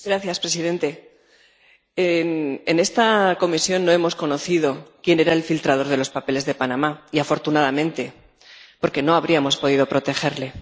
Señor presidente, en esta comisión no hemos conocido quién era el filtrador de los papeles de Panamá, y afortunadamente, porque no habríamos podido protegerle.